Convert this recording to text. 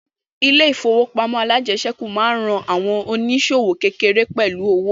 Ilẹ̀ ìfowópamọ́ alájẹsẹ́kù máa ń ran àwọn ònísòwò kékéèké pẹ̀lú owo